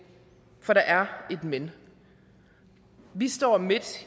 for der er et men vi står midt